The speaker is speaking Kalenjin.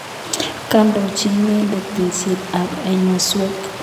Koindochi inendet tekset ap ainoswek.